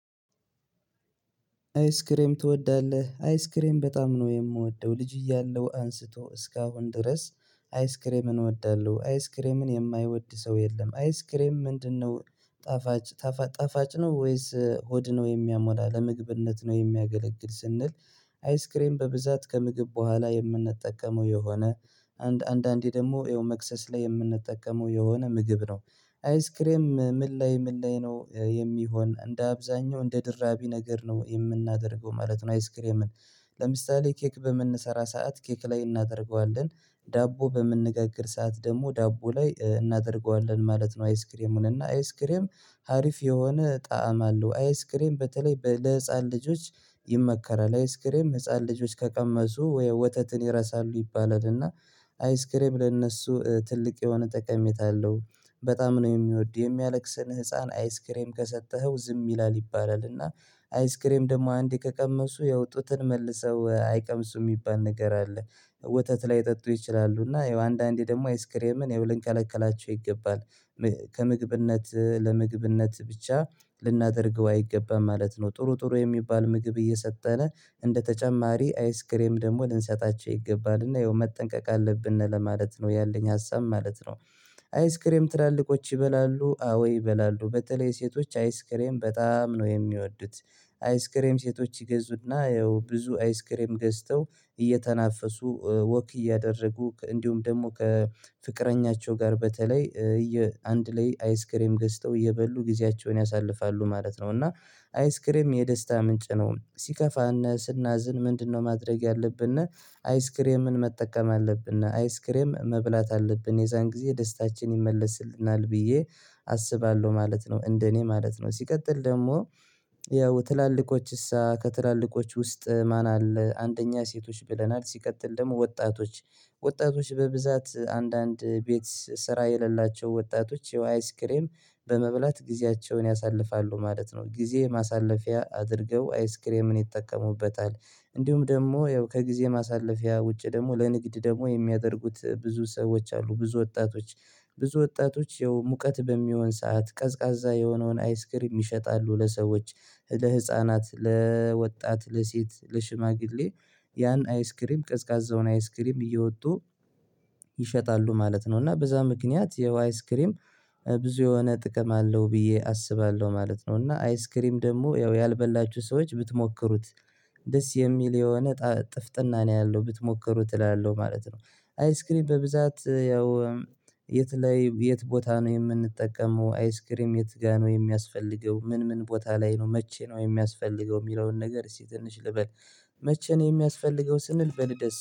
አይስክሬም ትወዳለህ አይስክሬም በጣም ነው የምወደው ልጅ እያለው አንስቶ እስካሁን ድረስ አይስክሬምን እወዳለሁ አይስክሬምን የማይወድ ሰው የለም። አይስክሬም ምንድነው? ጣፋጭ ነው ወይስ ሆድ ነው የሚያሞላ ለምግብነት ነው የሚያገለግል ስንል። አይስክሬም በብዛት ከምግብ በኋላ የምንጠቀመው የሆነ አንድ አንዳንዴ ደግሞ ይኸው መክሰስ ላይ የምንጠቀመው የሆነ ምግብ ነው። አይስክሬም ምላይ ምላይ ነው የሚሆን እንደ አብዛኛው እንደ ድራቢ ነገር ነው የምናደርገው ማለት ነው። አይስክሬምን ለምሳሌ ኬክ በምንሰራ ሰዓት ኬክ ላይ እናደርገዋለን ዳቦ በምንገግር ሰዓት ደግሞ ዳቦ ላይ እናደርገዋለን ማለት ነው። አይስክሬሙን እና አይስክሬም ሀሪፍ የሆነ ጣዕም አለው አይስክሬም በተለይ ለህፃን ልጆች ይመከራል። አይስክሬም ህፃን ልጆች ከቀመሱ ወይ ወተትን ይረሳሉ ይባላል እና። አይስክሬም ለእነሱ ትልቅ የሆነ ጠቀሜታ አለው። በጣም ነው የሚወድ የሚያለቅስህን ህፃን አይስክሬም ከሰጠኸው ዝም ይላል ይባላል እና አይስክሬም ደግሞ አንዴ ከቀመሱ ያወጡትን መልሰው አይቀምሱም የሚባል ነገር አለ። ወተት ላይጠጡ ይችላሉ እና ያው አንዳንዴ ደግሞ አይስክሬምን ይኸው ልንከለከላቸው ይገባል። ከምግብነት ለምግብነት ብቻ ልናደርገው አይገባም ማለት ነው። ጥሩ ጥሩ የሚባል ምግብ እየሰጠነ እንደ ተጨማሪ አይስክሬም ደግሞ ልንሰጣቸው ይገባልና ይኸው መጠንቀቅ አለብን ለማለት ነው ያለኝ ሀሳብ ማለት ነው። አይስክሬም ትላልቆች ይበላሉ አዎ ይበላሉ በተለይ ሴቶች አይስክሬም በጣም ነው የሚወዱት። አይስክሬም ሴቶች ይገዙና ያው ብዙ አይስክሬም ገዝተው እየተናፈሱ ወክ እያደረጉ እንዲሁም ደግሞ ከፍቅረኛቸው ጋር በተለይ አንድ ላይ አይስክሬም ገዝተው የበሉ ጊዜያቸውን ያሳልፋሉ ማለት ነው። እና አይስክሬም የደስታ ምንጭ ነው ሲከፋነህ ስናዝን ምንድነው ማድረግ ያለብንና አይስክሬምን መጠቀም አለብንና አይስክሬም መብላት አለብን የዛን ጊዜ ደስታችን ይመለስልናል ብዬ አስባለሁ ማለት ነው። እንደኔ ማለት ነው ሲቀጥል ደግሞ ያው ትላልቆችስ ከትላልቆች ውስጥ ማን አለ? አንደኛ ሴቶች ብለናል ሲቀጥል ደግሞ ወጣቶች ወጣቶች በብዛት አንዳንድ ቤት ስራ የሌላቸው ወጣቶች የአይስክሬም በመብላት ጊዜያቸውን ያሳልፋሉ ማለት ነው። ጊዜ ማሳለፊያ አድርገው አይስክሬምን ይጠቀሙበታል። እንዲሁም ደግሞ ያው ከጊዜ ማሳለፊያ ውጪ ደግሞ ለንግድ ደግሞ የሚያደርጉት ብዙ ሰዎች አሉ። ብዙ ወጣቶች ብዙ ወጣቶች ያው ሙቀት በሚሆን ሰዓት ቀዝቃዛ የሆነውን አይስክሪም ይሸጣሉ ለሰዎች ለህፃናት ለወጣት ለሴት ለሽማግሌ ያን አይስክሪም ቀዝቃዛውን አይስክሪም እየወጡ ይሸጣሉ። ማለት ነው እና በዛ ምክንያት የው አይስ ክሬም ብዙ የሆነ ጥቅም አለው ብዬ አስባለሁ ማለት ነው። እና አይስክሪም ደግሞ ያው ያልበላችሁ ሰዎች ብትሞክሩት ደስ የሚል የሆነ ጥፍጥና ነው ያለው ብትሞክሩ እላለህ ማለት ነው። አይስክሪም በብዛት ያው የት ላይ የት ቦታ ነው የምንጠቀመው አይስክሬም የት ጋር ነው የሚያስፈልገው ምን ምን ቦታ ላይ ነው መቼ ነው የሚያስፈልገው የሚለውን ነገር እስቲ ትንሽ ልበል መቼ ነው የሚያስፈልገው? ስንል በል ደስ